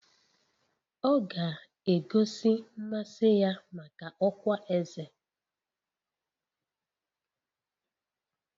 Ọ ga-egosi mmasị ya maka ọkwá eze